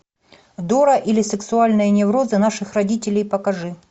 дора или сексуальные неврозы наших родителей покажи